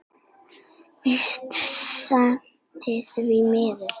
Víst seint, því miður.